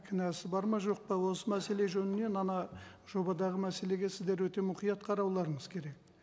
кінәсі бар ма жоқ па осы мәселе жөнінен ана жобадағы мәселеге сіздер өте мұқият қарауларыңыз керек